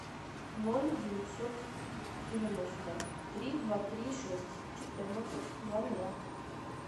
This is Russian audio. ноль девятьсот девяносто три два три шесть четырнадцать два ноля